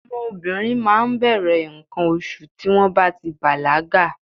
Ọmọ obìnrin máa ń bẹ̀rẹ̀ nǹkan oṣù tí wọ́n bá ti bàlágà.